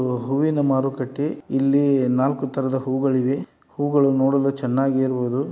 ಹೂ ಹೂವಿನ ಮಾರುಕಟ್ಟೆ ಇಲ್ಲಿ ನಾಲ್ಕು ತರದ ಹೂಗಳಿವೆ ಹೂಗಳು ನೋಡಲು ಚೆನ್ನಾಗಿರವದು.